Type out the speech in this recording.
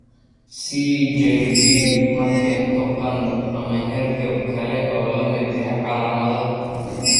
CJD ma keento qandho ama hargab kale oo la mid ah calaamadaha.